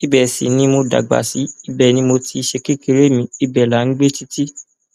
ibẹ sì ni mo dàgbà sí ibẹ ni mo ti ṣe kékeré mi ibẹ là ń gbé títì